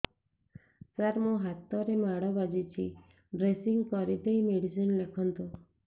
ସାର ମୋ ହାତରେ ମାଡ଼ ବାଜିଛି ଡ୍ରେସିଂ କରିଦେଇ ମେଡିସିନ ଲେଖନ୍ତୁ